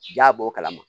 Ja b'o kalama